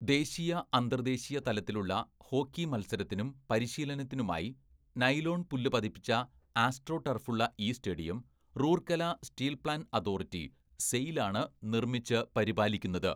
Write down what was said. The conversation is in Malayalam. ദേശീയ അന്തർദേശീയ തലത്തിലുള്ള ഹോക്കി മത്സരത്തിനും പരിശീലനത്തിനുമായി നൈലോൺ പുല്ലു പതിപ്പിച്ച ആസ്ട്രോ ടർഫുള്ള ഈ stadium Rourkela steel plant authority, SAIL ആണ് നിർമ്മിച്ച് പരിപാലിക്കുന്നത്.